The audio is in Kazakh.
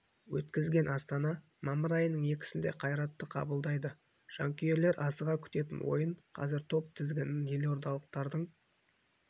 өткізген астана мамыр айының екісінде қайратты қабылдайды жанкүйер асыға күтетін ойын қазір топ тізігіні елордалықтардың